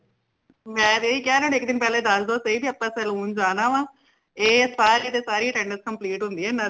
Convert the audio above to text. ਮੈਂ ਤੇ ਏਹੀ ਕਿਆ ਇਨਾ ਨੂ ਇਕ ਦਿਨ ਪਹਲੇ ਦਸ ਦੋ ਕਿ ਆਪਾ saloon ਜਾਣਾ ਵਾ ਏ ਸਾਰੀ ਦੀ ਸਾਰੀ attendance complete ਹੁੰਦੀ ਹੈ ਇਨਾ ਦੀ